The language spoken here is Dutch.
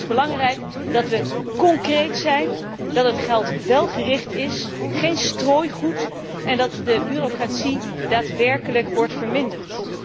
Maar het is belangrijk dat we concreet zijn, dat het geld welgericht is geen strooigoed en dat de bureaucratie daadwerkelijk wordt verminderd.